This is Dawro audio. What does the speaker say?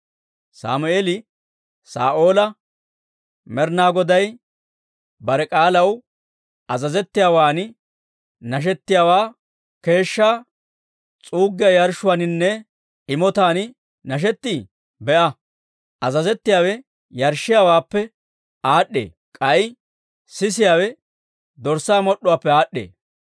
Sammeeli Saa'oola, «Med'inaa Goday bare k'aalaw azazettiyaawaan nashettiyaawaa keeshshaa s'uuggiyaa yarshshuwaaninne imotaan nashettii? Be'a; azazettiyaawe yarshshiyaawaappe aad'd'ee; k'ay sisiyaawe dorssaa mod'd'uwaappe aad'd'ee.